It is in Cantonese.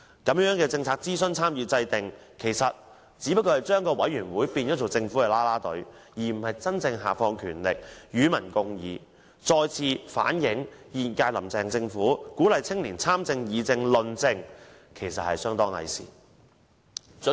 這樣的政策諮詢、參與和制訂，其實只是把委員會變成政府啦啦隊，而非真正下放權力、與民共議，再次反映現屆"林鄭"政府鼓勵青年參政、議政、論政的說法，其實是相當偽善的。